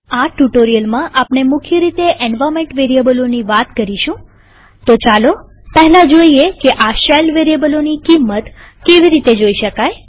આ ટ્યુ્ટોરીઅલમાં આપણે મુખ્ય રીતે એન્વાર્નમેન્ટ વેરીએબલોની વાત કરીશુંતો ચાલો પહેલા જોઈએ કે આ શેલ વેરીએબલોની કિંમત કેવી રીતે જોઈ શકાય